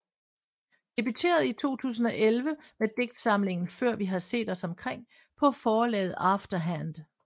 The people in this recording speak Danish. Debuterede i 2011 med digtsamlingen Før vi har set os omkring på forlaget After Hand